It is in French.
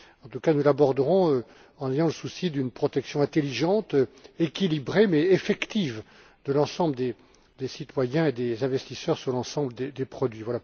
En tout cas, nous l'aborderons en ayant le souci d'une protection intelligente, équilibrée mais effective de l'ensemble des citoyens et des investisseurs sur l'ensemble des produits.